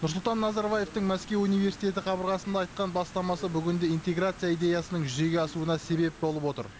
нұрсұлтан назарбаевтың мәскеу университеті қабырғасында айтқан бастамасы бүгінде интеграция идеясының жүзеге асуына себеп болып отыр